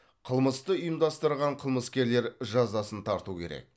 қылмысты ұйымдастырған қылмыскерлер жазасын тарту керек